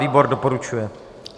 Výbor doporučuje.